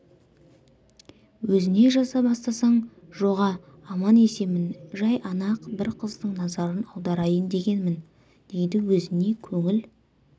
өзіне жаза бастасаң жоға аман-есенмін жай ана бір қыздың назарын аударайын дегенмін дейді өзіне көңіл